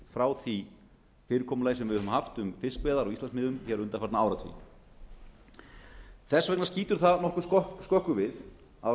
frá því fyrirkomulagi sem við höfum haft um fiskveiðar á íslandsmiðum hér undanfarna áratugi þess vegna skýtur það nokkuð skökku við á